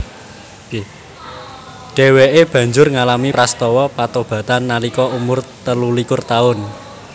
Dhèwèké banjur ngalami prastawa patobatan nalika umur telulikur taun